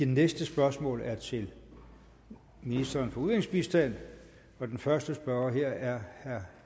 næste spørgsmål er til ministeren for udviklingsbistand og den første spørger er herre